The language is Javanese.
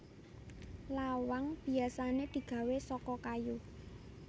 Lawang biyasané digawé saka kayu